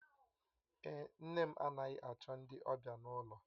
Èé, nne m anaghị achọ ndị ọbịa n'ụlọ.